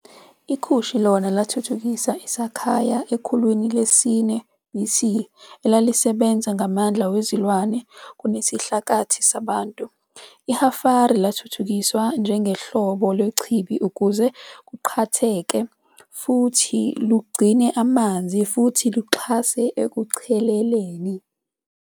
IKushi lona lathuthukisa i-Sakhiya ekhulwini lesi-4 BC, elalisebenza ngamandla wezilwane kunesidlakathi sabantu. I-Hafiri lathuthukiswa njengohlobo lwechibi ukuze luqakathe futhi lugcine amanzi futhi luxhase ekucheleleni.